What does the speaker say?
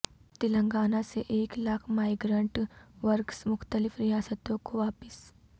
تلنگانہ سے ایک lakh migrant workers مختلف ریاستوں کو واپس